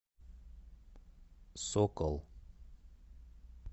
сокол